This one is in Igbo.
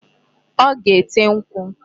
Ọ ga-ete nkwụ.